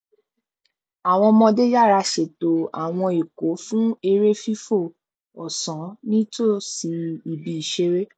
àwọn ọmọdé yára ṣètò àwọn ikọ fún eré fìfò ọsán nítòsí ibi ìṣeré